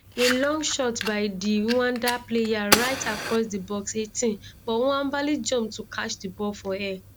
a long shot by di rwanda player right across di box 18 but nwabali jump to catch di ball for air